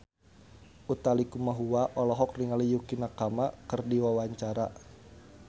Utha Likumahua olohok ningali Yukie Nakama keur diwawancara